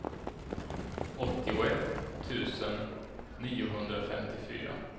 åttioett tusen niohundrafemtiofyra